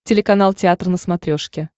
телеканал театр на смотрешке